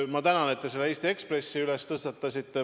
Ma tänan, et te Eesti Ekspressi teema tõstatasite.